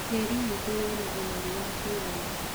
Tĩri witũ wĩna ũnoru wa kũigana.